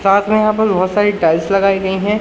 साथ में यहां पर बहोत सारी टाइल्स लगाई गई है।